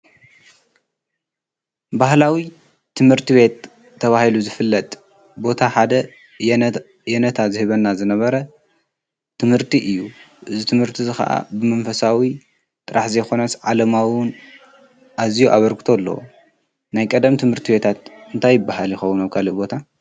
ባህላዊ ትምህርቲ ቤት ተባሂሉ ዝፍለጥ ቦታ ሓደ የነታ ዝህበና ዝነበረ ትምህርቲ እዩ። እዚ ትምህርቲ እዙይ ካዓ ብመንፈሳዊ ጥራሕ ዘይኮነስ ዓለማዊ እውን ኣዝዩ ኣበርክቶ ኣለዎ። ናይ ቀደም ትምህርት ቤታት እንታይ ይባሃል ይኸውን ኣብ ካሊእ ቦታ ?